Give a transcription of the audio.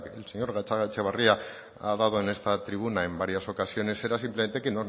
el señor gatzagaetxebarria ha dado en esta tribuna en varias ocasiones era simplemente que